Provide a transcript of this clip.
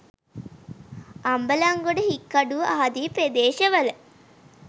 අම්බලන්ගොඩ හික්කඩුව ආදී ප්‍රදේශ වල